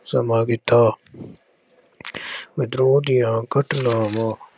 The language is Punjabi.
ਸਮਾਂ ਕੀਤਾ ਵਿਦਰੋਹ ਦੀਆਂ ਘਟਨਾਵਾਂ